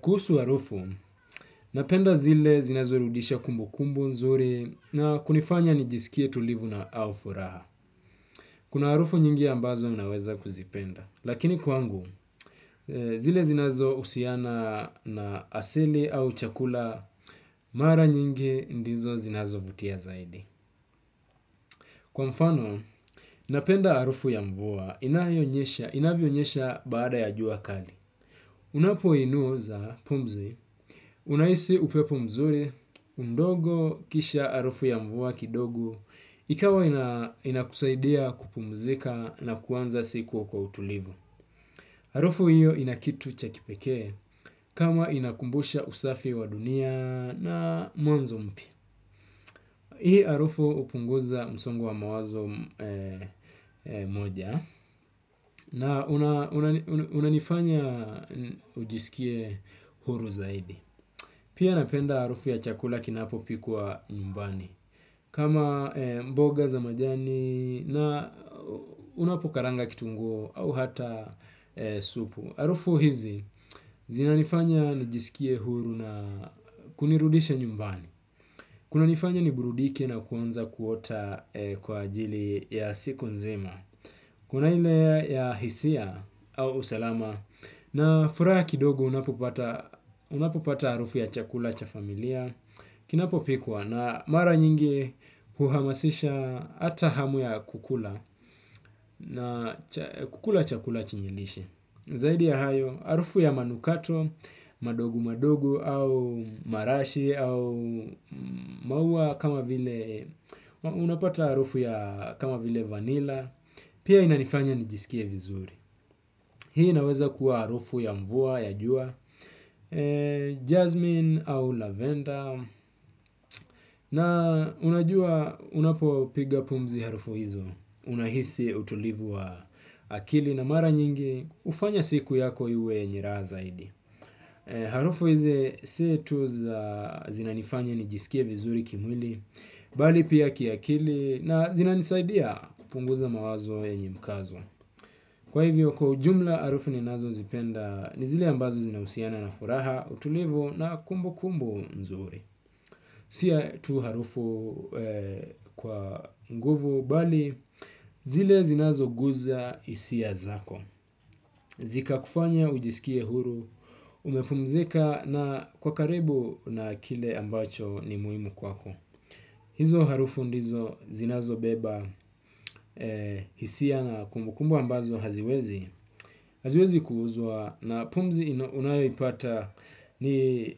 Kuhusu arufu, napenda zile zinazo rudisha kumbu kumbu nzuri na kunifanya nijisikie tulivu na au furaha. Kuna arufu nyingi ambazo unaweza kuzipenda. Lakini kwangu, zile zinazo husiana na asili au chakula, mara nyingi ndizo zinazo vutia zaidi. Kwa mfano, napenda arufu ya mvua inayonyesha inavyonyesha baada ya jua kali. Unapo inuo za pumzi, unahisi upepo mzuri, mdogo, kisha arufu ya mvua kidogo, ikawa inakusaidia kupumzika na kuanza siku kwa utulivu. Arufu hiyo inakitu chakipekee kama inakumbusha usafi wa dunia na mwanzo mpi. Hii arufu upunguza msongo wa mawazo moja na unanifanya ujisikie huru zaidi. Pia napenda arufu ya chakula kinapo pikwa nyumbani. Kama mboga za majani na unapokaranga kitunguu au hata supu. Harufu hizi zina nifanya nijisikie huru na kunirudisha nyumbani. Kuna nifanya niburudike na kuanza kuota kwa ajili ya siku nzima. Kuna ile ya hisia au usalama na furaha ya kidogo unapopata unapopata harufu ya chakula cha familia kinapo pikwa na mara nyingi uhamasisha hata hamu ya kukula na kukula chakula chenye lishe. Zaidi ya hayo, arufu ya manukato, madogu madogo au marashi au maua kama vile, unapata arufu ya kama vile vanila, pia inanifanya nijisikie vizuri. Hii inaweza kuwa harufu ya mvua ya jua, jasmine au lavender na unajua unapo piga pumzi harufu hizo unahisi utulivu wa akili na mara nyingi hufanya siku yako iwe yenye raha zaidi. Harufu hize setu za zinanifanya ni jisikie vizuri kimwili, bali pia kiakili na zinanisaidia kupunguza mawazo yenye mkazo. Kwa hivyo kwa ujumla harufu ninazo zipenda ni zile ambazo zinausiana na furaha, utulivu na kumbu kumbu nzuri. Sia tu harufu kwa nguvu bali zile zinazo guza hisia zako. Zika kufanya ujisikie huru, umepumzika na kwa karibu na kile ambacho ni muhimu kwako. Hizo harufu ndizo zinazo beba hisia na kumbukumbu ambazo haziwezi. Haziwezi kuuzwa na pumzi unayo ipata ni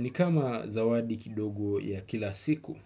ni kama zawadi kidogo ya kila siku.